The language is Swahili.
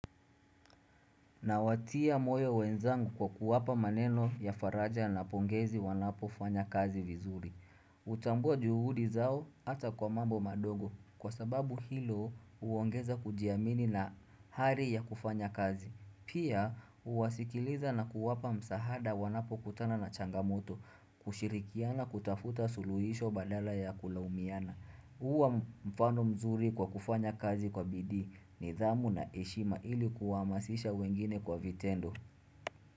Nawatia moyo wenzangu kwa kuwapa maneno ya faraja na pongezi wanapofanya kazi vizuri. Hutambua juhudi zao hata kwa mambo madogo kwa sababu hilo huongeza kujiamini na ari ya kufanya kazi. Pia huwasikiliza na kuwapa msahada wanapokutana na changamoto, kushirikiana kutafuta suluhisho badala ya kulaumiana. Huwa mfano mzuri kwa kufanya kazi kwa bidii nidhamu na heshima ili kuwahamasisha wengine kwa vitendo.,